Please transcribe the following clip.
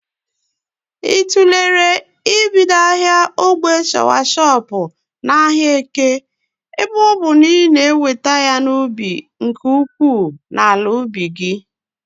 Ị tụlere ibido ahịa ogbè shọawashọp n'ahịa Eke ebe ọbụ na ị na-eweta ya n'ubi nke ukwuu n'ala ubi gị?